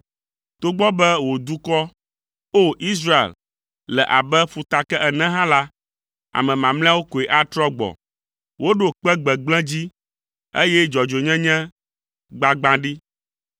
Togbɔ be wò dukɔ, O! Israel, le abe ƒutake ene hã la, ame mamlɛawo koe atrɔ gbɔ. Woɖo kpe gbegblẽ dzi, eye dzɔdzɔenyenye gbagbã ɖi.